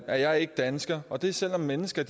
er jeg ikke dansker og det er selv om mennesker